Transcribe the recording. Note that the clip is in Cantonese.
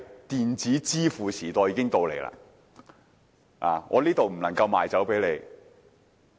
電子支付時代是否已經來臨呢？